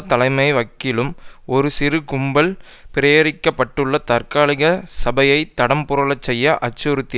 தலைமை வகிக்கும் ஒரு சிறு கும்பல் பிரேரிக்க பட்டுள்ள தற்காலிக சபையை தடம் புரள செய்ய அச்சுறுத்திய